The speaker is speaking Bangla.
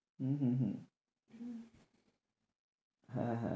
হম হম হম হ্যাঁ হ্যাঁ